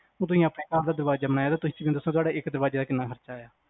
ਉਹ ਤੁਸੀ ਆਪਣੇ ਘਰ ਦਾ ਦਰਵਾਜ਼ਾ ਬਣਾਇਆ ਹੋਏਗਾ, ਤੇ ਤੁਸੀ ਮੈਨੂੰ ਦੱਸੋ ਤੁਹਾਡੇ ਇਕ ਦਰਵਾਜ਼ੇ ਦਾ ਕਿਹਨਾਂ ਖਰਚਾ ਆਇਆ?